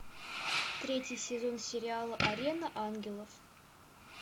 третий сезон сериала арена ангелов